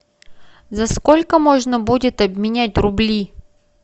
за сколько можно будет обменять рубли